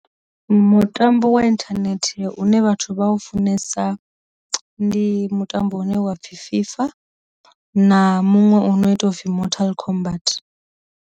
Mutambo wa inthanethe une vhathu vha funesa ndi mutambo une wa pfhi FIFA, na muṅwe u no ita upfi mortal combart.